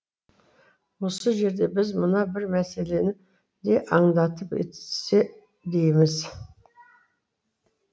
осы жерде біз мына бір мәселені де аңдатып өтсе дейміз